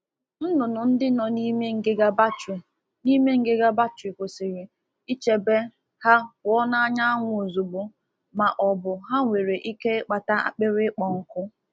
A ghaghị ichebe anụ ọkụkọ dị anụ ọkụkọ dị n'ime akpa ígwè pụọ n'anya anyanwụ kpọmkwem n’ihi na ha nwere ike inọọ n’ime mmiri.